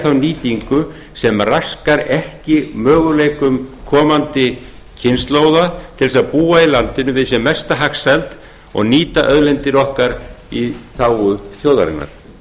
þá nýtingu sem raskar ekki möguleikum komandi kynslóða til að búa í landinu við sem mesta hagsæld og nýta auðlindir okkar í þágu þjóðarinnar